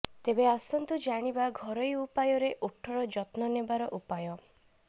ତେବେ ଆସନ୍ତୁ ଜାଣିବା ଘରୋଇ ଉପାୟରେ ଓଠା ଯତ୍ନ ନେବାର ଉପାୟ